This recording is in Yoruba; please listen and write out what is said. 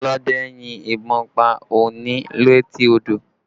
Ọlọ́dẹ yin ìbọn pa ọ̀ọ̀ni létí odò